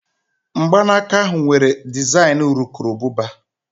Mgbanaka ahụ nwere dezaịn urukurububa